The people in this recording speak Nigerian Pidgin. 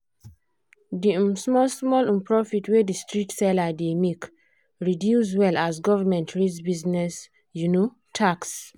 the um small-small um profit wey the street seller dey make reduce well as government raise business um tax.